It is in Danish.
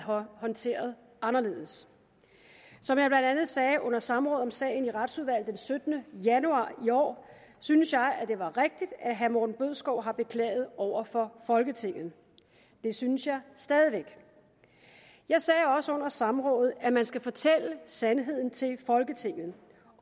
håndteret anderledes som jeg blandt andet sagde under samrådet om sagen i retsudvalget den syttende januar i år synes jeg det var rigtigt at herre morten bødskov har beklaget over for folketinget det synes jeg stadig væk jeg sagde også under samrådet at man skal fortælle sandheden til folketinget